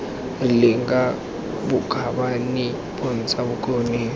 rileng ka bokgabane bontsha bokgoni